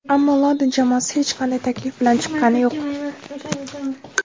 Ammo London jamoasi hech qanday taklif bilan chiqqani yo‘q.